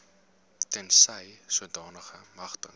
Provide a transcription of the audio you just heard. tensy sodanige magtiging